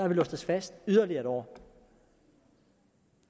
vi låst os fast i yderligere en år